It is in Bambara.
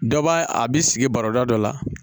Dɔ b'a a bi sigi baroda dɔ la